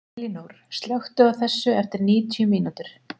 Elínór, slökktu á þessu eftir níutíu mínútur.